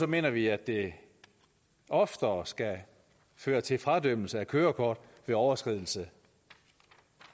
mener vi at det oftere skal føre til fradømmelse af kørekort ved overskridelse